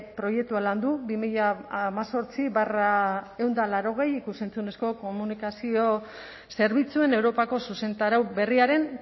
proiektua landu du bi mila hemezortzi barra ehun eta laurogei ikus entzunezko komunikazio zerbitzuen europako zuzentarau berriaren